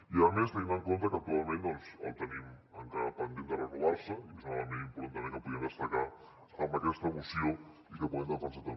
i a més tenint en compte que actualment el tenim encara pendent de renovar se i és un element important també que podíem destacar en aquesta moció i que podem defensar també